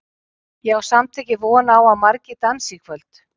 Ég á samt ekki von á að margir dansi í kvöld.